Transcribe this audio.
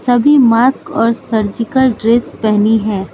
सभी मास्क और surgical dress पहनी है।